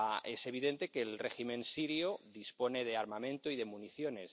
Es evidente que el régimen sirio dispone de armamento y de municiones.